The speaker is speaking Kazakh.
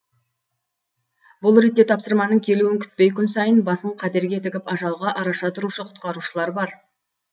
бұл ретте тапсырманың келуін күтпей күн сайын басын қатерге тігіп ажалға араша тұрушы құтқарушылар бар